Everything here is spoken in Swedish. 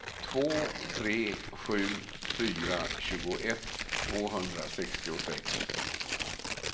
två tre sju fyra tjugoett tvåhundrasextiosex